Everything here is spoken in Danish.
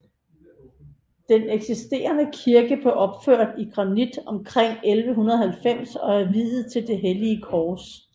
Den eksisterende kirke blev opført i granit omkring 1190 og er viet til det hellige kors